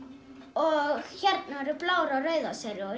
og hérna eru bláar og rauðar